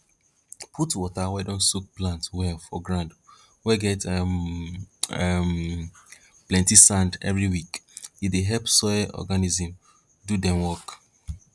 put water wey don soak plant well for ground wey get um um plenti sand every week e dey help soil organisms do dem work